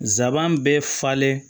Nsaban bɛ falen